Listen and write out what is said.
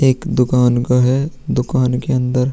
एक दुकान का है। दुकान के अंदर --